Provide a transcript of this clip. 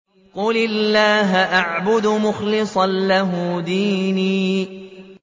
قُلِ اللَّهَ أَعْبُدُ مُخْلِصًا لَّهُ دِينِي